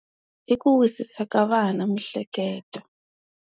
I ku wisisa ka vana mihleketo.